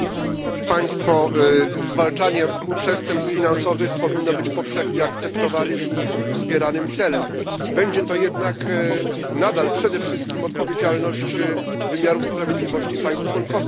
Pani Przewodnicząca! Zwalczanie przestępstw finansowych powinno być powszechnie akceptowanym i wspieranym celem. Będzie to jednak nadal przede wszystkim odpowiedzialność wymiarów sprawiedliwości państw członkowskich.